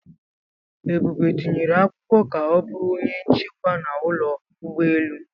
Ebube tinyere akwụkwọ ka ọ bụrụ onye nchekwa n'ụlọ ụgbọelu.